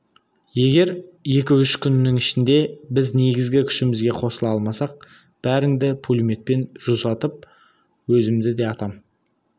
егер екі-үш күннің ішінде біз негізгі күшімізге қосыла алмасақ бәріңді пулеметпен жусатып өзімді де атам